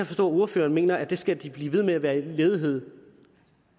forstå at ordføreren mener at de skal blive ved med at være ledige